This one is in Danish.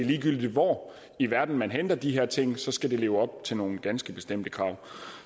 ligegyldigt hvor i verden man henter de her ting skal de leve op til nogle ganske bestemte krav